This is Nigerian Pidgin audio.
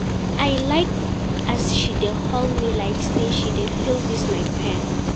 I like as she dey hold me like sey she dey feel dis my pain.